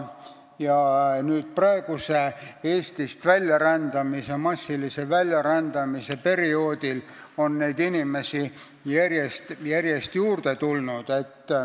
Ja nüüd, praegusel Eestist massilise väljarändamise perioodil, on neid inimesi järjest-järjest juurde tulnud.